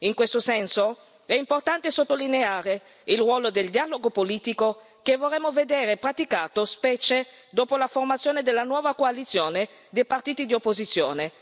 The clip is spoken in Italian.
In questo senso, è importante sottolineare il ruolo del dialogo politico che vorremmo vedere praticato, specie dopo la formazione della nuova coalizione dei partiti di opposizione.